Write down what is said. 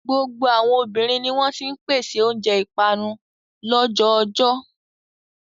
Gbogbo àwọn obìnrin ni wọ́n ti ń pèsè oúnjẹ ìpanu lọ́jọ́ oojọ́.